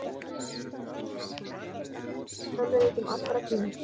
hann hefur hannað nokkra af vinsælustu tölvuleikjum allra tíma